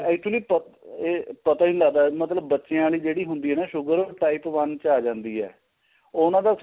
actually ਇਹ ਪਤਾ ਈ ਨਹੀਂ ਲੱਗਦਾ ਮਤਲਬ ਬੱਚਿਆ ਲਈ ਜਿਹੜੀ ਹੁੰਦੀ ਏ ਨਾ sugar type one ਚ ਆ ਜਾਂਦੀ ਏ ਉਹਨਾ ਦਾ